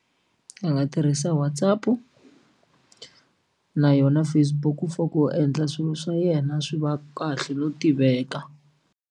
A nga tirhisa WhatsApp na yona Facebook for ku endla swilo swa yena swi va kahle no tiveka.